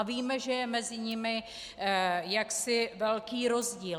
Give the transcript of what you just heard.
A víme, že je mezi nimi jaksi velký rozdíl.